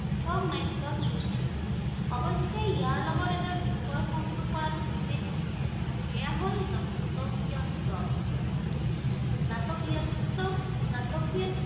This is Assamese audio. সাৰ্থক নাট্য় সৃষ্টি- অৱশ্য়ে ইয়াৰ লগত এটা বিষয় সংযোগ কৰাটো উচিত। সেয়া হল নাটকীয়ত্ব। নাটকীয়ত্ব নাটকীয়ত্ব